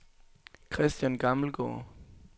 Christian Gammelgaard